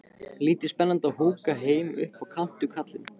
Lítið spennandi að húka heima upp á kant við kallinn.